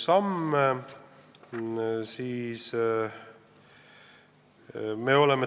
samme astuma.